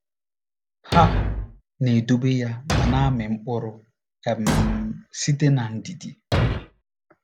Ha “na-edobe ya ma na-amị mkpụrụ um site n’ndidi.”